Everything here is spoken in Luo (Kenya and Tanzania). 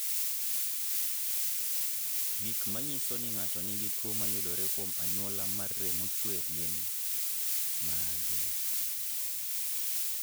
Gik manyiso ni ng'ato nigi tuo mayudore kuom anyuola mar remo chwer gin mage?